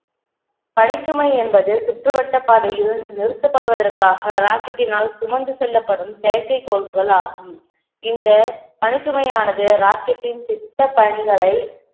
பணிச்சுமை என்பது சுற்றுவட்ட பாதையில் நிறுத்தப்படுவதற்காக rocket டினால் சுமந்து செல்லப்படும் செயற்கைக்கோள்கள் ஆகும் இந்த பணி சுமையானது rocket டின் திட்ட பணிகளை